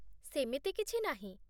ସେମିତି କିଛି ନାହିଁ